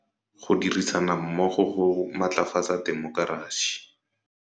Go dirisana mmogo go matlafatsa temokerasi.